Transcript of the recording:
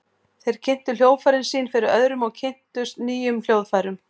Þeir kynntu hljóðfærin sín fyrir öðrum og kynntust nýjum hljóðfærum.